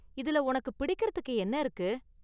இதுல உனக்கு பிடிக்கறதுக்கு என்ன இருக்கு?